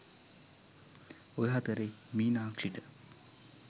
ඔය අතරෙ මීනක්ෂිට